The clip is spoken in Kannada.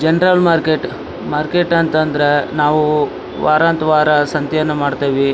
ಜನರಲ್ ಮಾರ್ಕೆಟ್ ಮಾರ್ಕೆಟ್ ಅಂತಂದ್ರ ನಾವು ವರಂತ ವಾರ ಸಂತೆಯನ್ನ ಮಾಡ್ತೀವಿ.